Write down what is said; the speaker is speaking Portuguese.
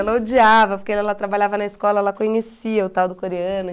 Ela odiava, porque ela trabalhava na escola, ela conhecia o tal do coreano.